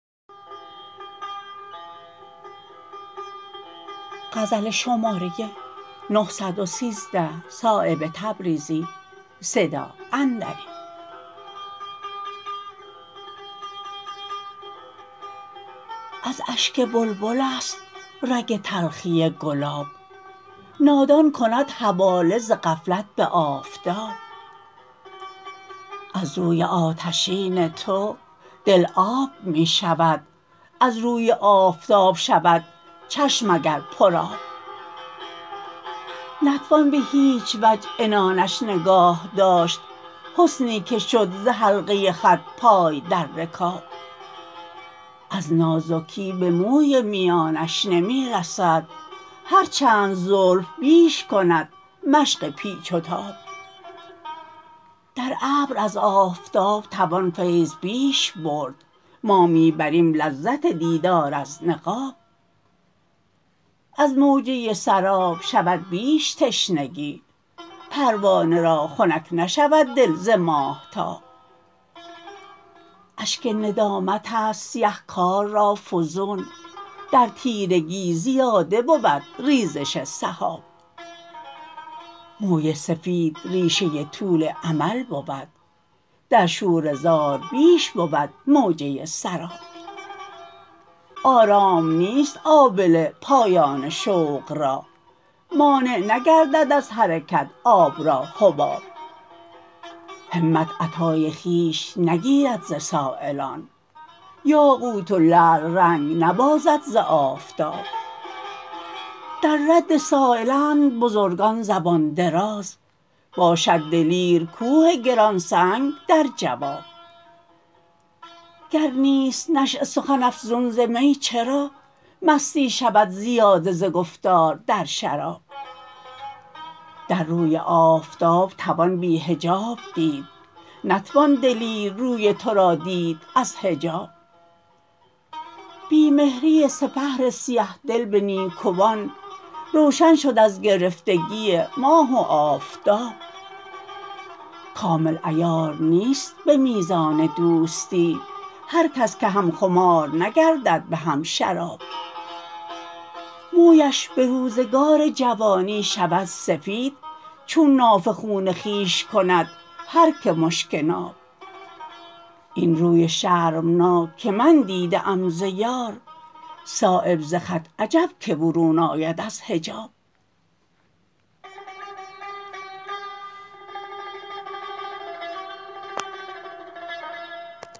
از اشک بلبل است رگ تلخی گلاب نادان کند حواله ز غفلت به آفتاب از روی آتشین تو دل آب می شود از روی آفتاب شود چشم اگر پر آب نتوان به هیچ وجه عنانش نگاه داشت حسنی که شد ز حلقه خط پای در رکاب از نازکی به موی میانش نمی رسد هر چند زلف بیش کند مشق پیچ و تاب در ابر از آفتاب توان فیض بیش برد ما می بریم لذت دیدار از نقاب از موجه سراب شود بیش تشنگی پروانه را خنک نشود دل ز ماهتاب اشک ندامت است سیه کار را فزون در تیرگی زیاده بود ریزش سحاب موی سفید ریشه طول امل بود در شوره زار بیش بود موجه سراب آرام نیست آبله پایان شوق را مانع نگردد از حرکت آب را حباب همت عطای خویش نگیرد ز سایلان یاقوت و لعل رنگ نبازد ز آفتاب در رد سایلند بزرگان زبان دراز باشد دلیر کوه گرانسنگ در جواب گر نیست نشأه سخن افزون ز می چرا مستی شود زیاده ز گفتار در شراب در روی آفتاب توان بی حجاب دید نتوان دلیر روی ترا دید از حجاب بی مهری سپهر سیه دل به نیکوان روشن شد از گرفتگی ماه و آفتاب کامل عیار نیست به میزان دوستی هر کس که هم خمار نگردد به هم شراب مویش به روزگار جوانی شود سفید چون نافه خون خویش کند هر که مشک ناب این روی شرمناک که من دیده ام ز یار صایب ز خط عجب که برون آید از حجاب